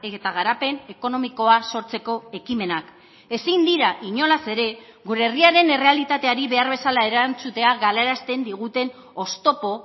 eta garapen ekonomikoa sortzeko ekimenak ezin dira inolaz ere gure herriaren errealitateari behar bezala erantzutea galarazten diguten oztopo